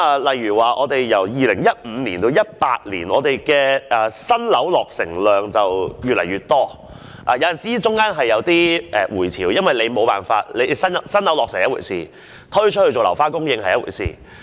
例如由2015年至2018年，本港的新樓落成量越來越多，當中當然也有起伏，因為有新樓落成是一回事，是否推出作樓花供應卻是另一回事。